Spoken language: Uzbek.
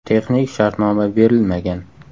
Texnik shartnoma berilmagan.